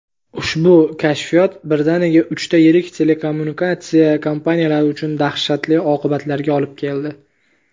Ushbu "kashfiyot" birdaniga uchta yirik telekommunikatsiya kompaniyalari uchun dahshatli oqibatlarga olib keldi.